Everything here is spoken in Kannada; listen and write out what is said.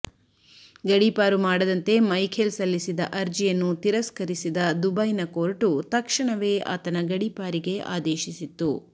ಗಡೀಪಾರು ಮಾಡದಂತೆ ಮೈಖೆಲ್ ಸಲ್ಲಿಸಿದ್ದ ಅರ್ಜಿಯನ್ನು ತಿರಸ್ಕರಿಸಿದ ದುಬೈನ ಕೋರ್ಟು ತಕ್ಷಣವೇ ಆತನ ಗಡಿಪಾರಿಗೆ ಆದೇಶಿಸಿತ್ತು